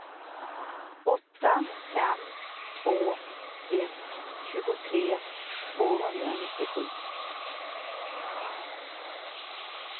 åtta fem två ett tjugotre tvåhundranittiosju